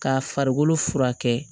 K'a farikolo furakɛ